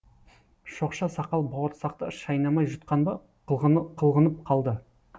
шоқша сақал бауырсақты шайнамай жұтқан ба қылғынып қалды